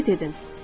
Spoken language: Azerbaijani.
Hərəkət edin.